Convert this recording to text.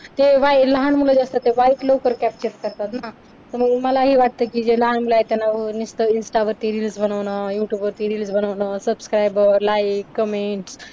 तेव्हा हि लहान मुल जे असतात ना ते बारीक लवकर capture करतात ना. तर मग मला हे वाटत कि जे लहान मुलं आहेत त्यांना नुसतं insta वरती reels बनवणं youtube वरती reels बनवणं subscriberlikecomment